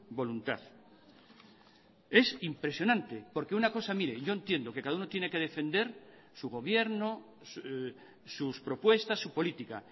voluntad es impresionante porque una cosa mire yo entiendo que cada uno tiene que defender su gobierno sus propuestas su política